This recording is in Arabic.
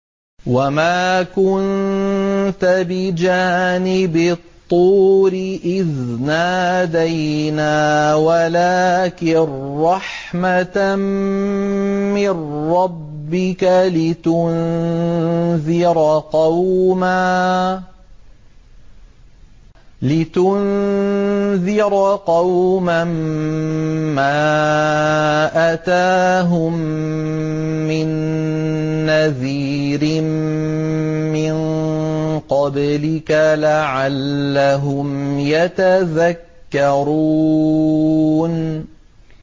وَمَا كُنتَ بِجَانِبِ الطُّورِ إِذْ نَادَيْنَا وَلَٰكِن رَّحْمَةً مِّن رَّبِّكَ لِتُنذِرَ قَوْمًا مَّا أَتَاهُم مِّن نَّذِيرٍ مِّن قَبْلِكَ لَعَلَّهُمْ يَتَذَكَّرُونَ